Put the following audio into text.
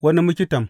Wani miktam.